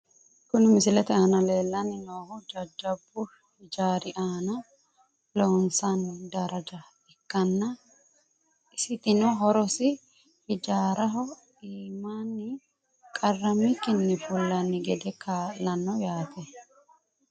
Kuni misilete aana leellanni noohu jajjabbu hijaari aana loonsanni daraja ikkanna, isitino horosi hijaaraho iimaanni qarrammikkinni fullanni gede kaa'lanno yaate.